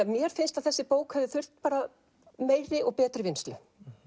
mér finnst að þessi bók hefði þurft meiri og betri vinnslu